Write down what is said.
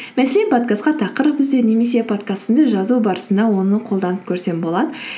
мәселен подкастқа тақырып ізде немесе подкастымды жазу барысында оны қолданып көрсем болады